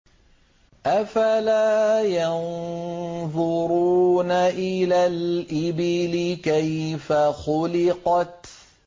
أَفَلَا يَنظُرُونَ إِلَى الْإِبِلِ كَيْفَ خُلِقَتْ